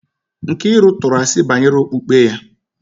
Nkiru tụrụ asi banyere okpukpe ya